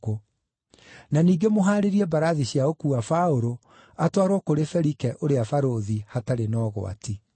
Na ningĩ mũhaarĩrie mbarathi cia gũkuua Paũlũ atwarwo kũrĩ Felike ũrĩa barũthi hatarĩ na ũgwati.”